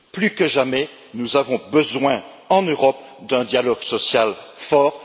Plus que jamais, nous avons besoin, en Europe, d'un dialogue social fort.